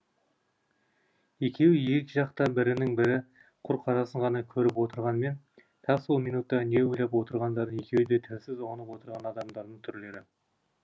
екеуі екі жақта бірінің бірі құр қарасын ғана көріп отырғанмен тап сол минутта не ойлап отырғандарын екеуі де тілсіз ұғынып отырған адамдардың түрлері